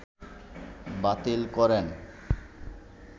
বাতিল করেন